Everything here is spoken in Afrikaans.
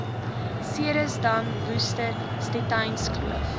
ceresdam worcester stettynskloof